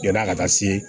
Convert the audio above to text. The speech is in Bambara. Yan'a ka taa se